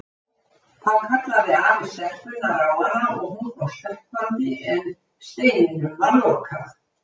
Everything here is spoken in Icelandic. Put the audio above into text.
Þá kallaði afi stelpunnar á hana og hún kom stökkvandi en steininum var lokað.